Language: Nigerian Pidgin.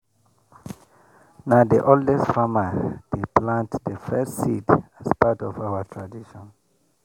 na the oldest farmer dey plant the first seed as part of our tradition.